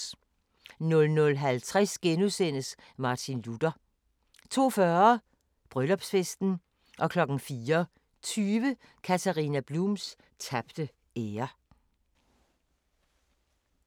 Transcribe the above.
00:50: Martin Luther * 02:40: Bryllupsfesten 04:20: Katharina Blums tabte ære